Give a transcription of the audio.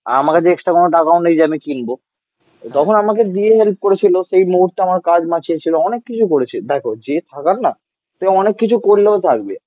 আর আমার কাছে এক্সট্রা কোনো টাকাও নেই যে আমি কিনব. তখন আমাকে দিয়ে হেল্প করেছিল. সেই মুহূর্তে আমার কাজ বাঁচিয়ে ছিল. অনেক কিছু করেছে. দেখো যে থাকার না. সে অনেক কিছু করলেও থাকবে